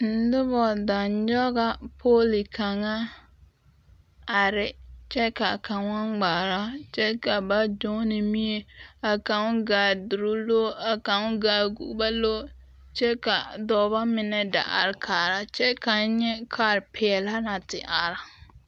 Noba da nyɔga pooli kaŋa are kyɛ ka kaŋa ŋmaara kyɛ ka ba doŋne nimie kaŋa gaa duloŋ loore kaŋgaa gɔbaa loore kyɛ ka dɔba meŋ da are kaara kyɛ ka n nyɛ kaarpeɛle naŋ te are.